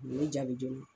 U ye jaabi dɔn